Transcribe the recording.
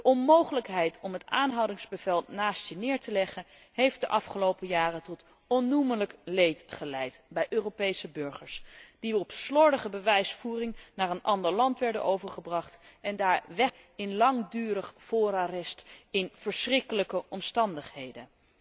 De onmogelijkheid om het aanhoudingsbevel naast zich neer te leggen heeft de afgelopen jaren tot onnoemelijk leed geleid bij Europese burgers die op basis van slordige bewijsvoering naar een ander land werden overgebracht en daar wegkwijnden in langdurig voorarrest onder verschrikkelijke omstandigheden.